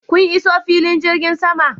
Kun iso filin jirgin sama?